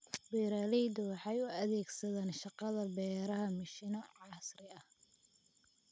Beeraleydu waxay u adeegsadaan shaqada beeraha mishiino casri ah.